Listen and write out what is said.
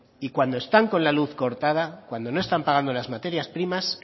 y cuando están con la luz cortada cuando no están pagando las materias primas